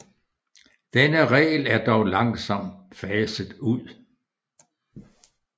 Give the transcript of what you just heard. Denne regel er dog langsomt faset ud